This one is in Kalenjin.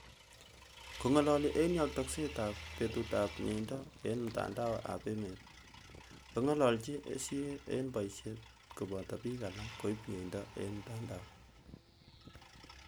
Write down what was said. Kong'alaali eng' yaatakset ap petuut ap myeindo eng' mtandao ap emet , kong'ang'chi CA eng' paisiet koboto piik alak koib myeindo eng' mtandao.